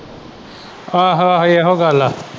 ਆਹੋ ਆਹੇ ਇਹੋ ਗੱਲ ਹੈ।